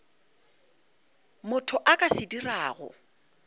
motho a ka se dirago